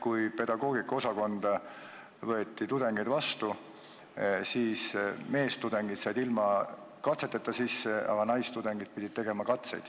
Kui pedagoogikaosakonda võeti tudengeid, siis meestudengid said ilma katseteta sisse, aga naistudengid pidid katseid tegema.